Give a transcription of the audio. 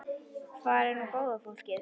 Hvar er nú góða fólkið?